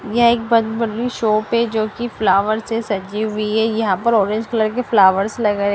यह एक बड़ी शॉप है जो की फ्लावर से सजी हुई है यहां पर ऑरेंज कलर के फ्लावर्स लगे--